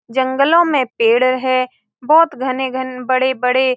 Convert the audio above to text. जंगलो में पेड़ है। बहुत घने-घने अ बड़े-बड़े--